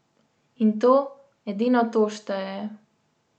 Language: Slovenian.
In to, edino to šteje.